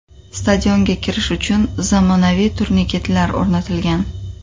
Stadionga kirish uchun zamonaviy turniketlar o‘rnatilgan .